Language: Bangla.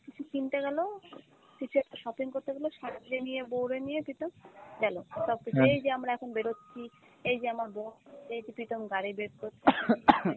কিছু কিনতে গেল, কিছু একটা shopping করতে গেলেও শাশুড়ি নিয়ে বউরে নিয়ে প্রীতম গেলো, তারপর এই যে আমরা এখন বেরোচ্ছি, এই যে আমার বোন, এই যে প্রীতম গাড়ি বের করছে ।